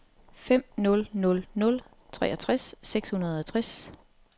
fem nul nul nul treogtres seks hundrede og tres